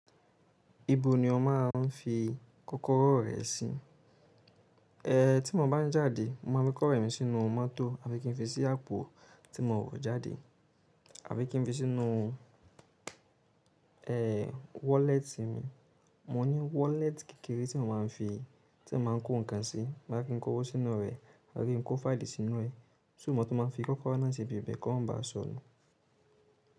Ibo ni o máa ń fi kókóró rẹ sí? E ti mo bá ń jáde, mo máa fi kó rẹ mi sínú mótò àbi kí n fi sí àpò tí mo wọ̀ jáde, àbi kí n fi sínú e wallet mi. Mo ní wallet kékeré tí mo máa ń fi, tí ẹ máa ń kó nǹkan sí, má kí n kó owó sínú rẹ̀, àbi kí n kó fáìlì sínú ẹ. So mo tun mo bá fi kókóró náà sí ibiìbẹ̀ kọ́ ma bá sọnù.